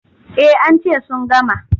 Eh an ce sun gama.